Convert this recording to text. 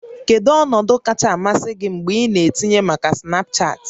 Kedu ọnọdụ kacha amasị gị mgbe ị na-etinye maka Snapchat?